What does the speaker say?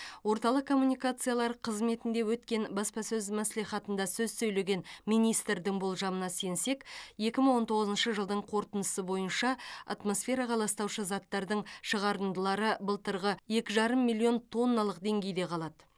орталық коммуникациялар қызметінде өткен баспасөз мәслихатында сөз сөйлеген министрдің болжамына сенсек екі мың он тоғызыншы жылдың қорытындысы бойынша атмосфераға ластаушы заттардың шығарындылары былтырғы екі жарым миллион тонналық деңгейде қалады